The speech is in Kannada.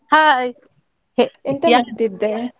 Hai ಎ~ ಎಂತ ಮಾಡ್ತಿದ್ದೆ?